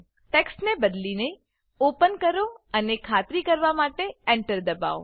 ટેક્સ્ટને બદલીને ઓપન કરો અને ખાતરી કરવા માટે Enter દબાવો